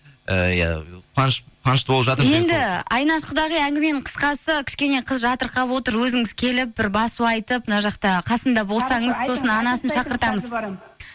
ыыы қуанышты болып енді айнаш құдағи әңгіменің қысқасы кішкене қыз жатырқап отыр өзіңіз келіп бір басу айтып мына жақта қасында болсаңыз сосын анасын шақыртамыз барам